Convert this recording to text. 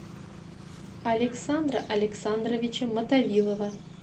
александра александровича мотовилова